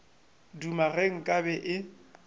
duma ge nka be e